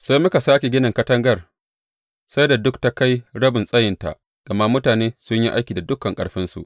Sai muka sāke ginin katangar sai da duka ta kai rabin tsayinta, gama mutane sun yi aiki da dukan ƙarfinsu.